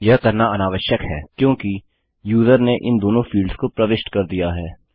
यह करना अनावश्यक है क्योंकि यूजर ने इन दोनों फील्ड्स को प्रविष्ट कर दिया है